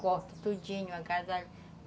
Corto tudinho, agasalho.